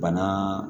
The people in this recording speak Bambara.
Bana